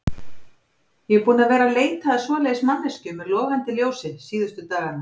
Ég er búinn að vera að leita að svoleiðis manneskju með logandi ljósi síðustu dagana.